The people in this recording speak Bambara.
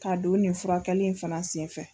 K'a don nin furakɛli in fana sen fɛ.